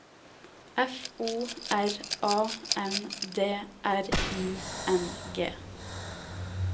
F O R A N D R I N G